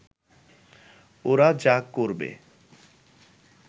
ওরা যা করবে